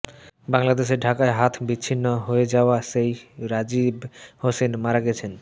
বাংলাদেশের ঢাকায় হাত বিচ্ছিন্ন হয়ে যাওয়া সেই রাজীব হোসেন মারা গেছেন